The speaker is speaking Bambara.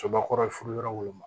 Sobakɔrɔ ye furu yɔrɔ wolon